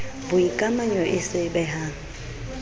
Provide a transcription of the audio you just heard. boikamanyo e se e behang